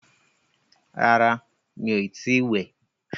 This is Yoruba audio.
Rárá, mí o ti ì wẹ̀.